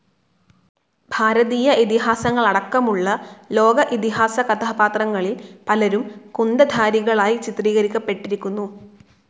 ഭാരതീയ ഇതിഹാസങ്ങളടക്കമുള്ള ലോക ഇതിഹാസ കഥാപാത്രങ്ങളിൽ പലരും കുന്തധാരികളായി ചിത്രീകരിക്കപ്പെട്ടിരിക്കുന്നു.